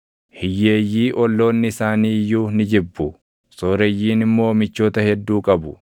Hiyyeeyyii olloonni isaanii iyyuu ni jibbu; sooreyyiin immoo michoota hedduu qabu.